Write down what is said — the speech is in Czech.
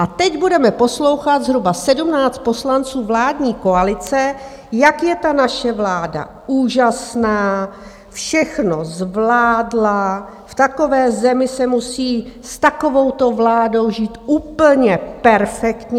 A teď budeme poslouchat zhruba 17 poslanců vládní koalice, jak je ta naše vláda úžasná, všechno zvládla, v takové zemi se musí s takovouto vládou žít úplně perfektně.